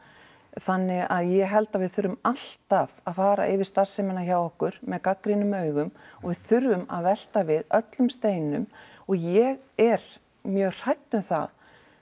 þannig að ég held að við þurfum alltaf að fara yfir starfsemina hjá okkur með gagnrýnum augum og við þurfum að velta við öllum steinum og ég er mjög hrædd um það